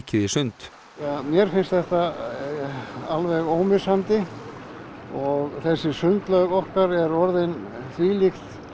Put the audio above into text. í sund mér finnst þetta alveg ómissandi og þessi sundlaug okkar er orðin þvílíkt